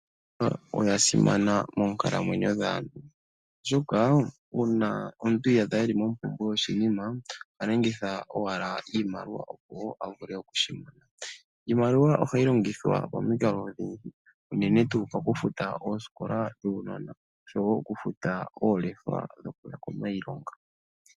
Iimaliwa oya simana moonkalamwenyo dhaantu, oshoka uuna omuntu iyaadha eli mompumbwe yoshinima oha longitha owala iimaliwa opo avule okwiikwatha . Iimaliwa ohayi longithwa pamikalo odhindji unene okufuta oosikola dhuunona nokufuta oolefa dhokuya komailonga.